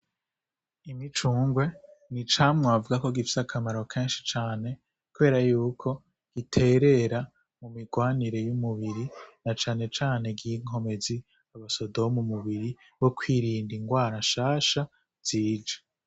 Imicungwe ,icamwa bavuga ko gifise akamaro kenshi cane kubera yuko biterera mumigwanire y'umubiri na cane cane nki nkomezi y' umusoda wo mumubiri wo kwirinda ingwara nshasha zije.